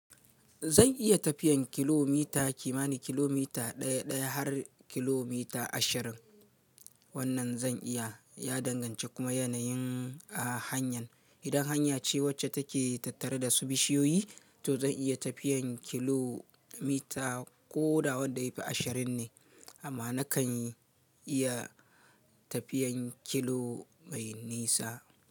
Zan iya tafiyan kilomita kimani kilomita daya daya har kilomita ashirin. Wannan zan iya ya danganci kuma yanayin hanyar. Idan hanya ce wacce take tattare da su bishiyoyi, to zan iya tafiyan kilomita ko da wadda yafi ashirin ne amma nakan iya tafiyan kilo mai nisa.